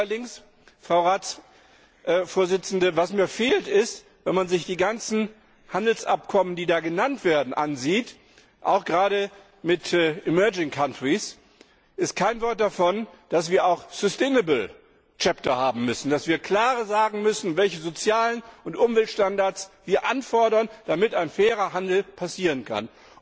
Allerdings, Frau Ratsvorsitzende, was mir fehlt, ist, wenn man sich die ganzen Handelsabkommen, die da genannt werden, ansieht, auch gerade mit emerging countries dass nicht davon gesprochen wird, dass wir auch sustainable chapters haben müssen, dass wir klar sagen müssen, welche sozialen und Umweltstandards wir einfordern, damit ein fairer Handel passieren kann.